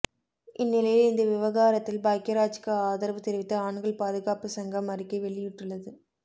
இந்நிலையில் இந்த விவகாரத்தில் பாக்யராஜ்க்கு ஆதரவு தெரிவித்து ஆண்கள் பாதுகாப்பு சங்கம் அறிக்கை வெளியிட்டுள்ளது